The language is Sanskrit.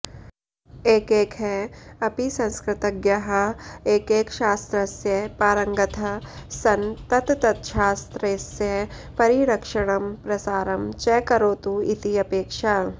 एकैकः अपि संस्कृतज्ञाः एकैकशास्त्रस्य पारङगतः सन् तत्तच्छास्त्रस्य परिरक्षणं प्रसारं च करोतु इति अपेक्षा